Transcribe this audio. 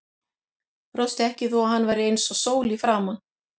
Brosti ekki þó að hann væri eins og sól í framan.